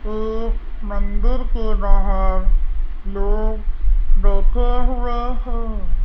ये मंदिर के बाहर लोग बैठे हुए हैं।